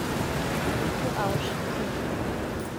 etu awosh pii